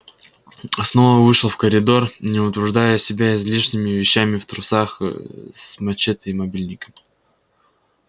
снова вышел в коридор не утруждая себя излишними вещами в трусах с мачете и мобильником